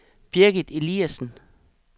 Birgit Eliasen